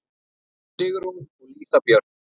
Sigrún og Lísa Björk.